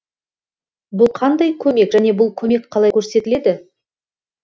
бұл қандай көмек және бұл көмек қалай көрсетіледі